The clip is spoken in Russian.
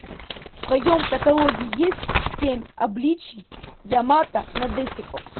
в твоем каталоге есть семь обличий ямато надэсико